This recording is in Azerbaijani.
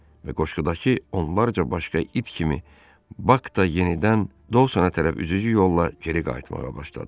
Və qoşqudakı onlarca başqa it kimi Bak da yenidən Dosonə tərəf üzücü yolla geri qayıtmağa başladı.